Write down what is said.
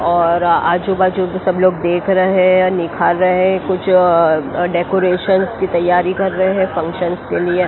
और आजू बाजू तो सब लोग देख रहे हैं निखार रहे हैं कुछ डेकोरेशनस की तैयारी कर रहे हैं फंक्शनस के लिए।